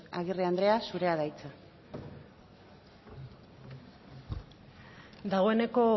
agirre andrea zurea da hitza dagoeneko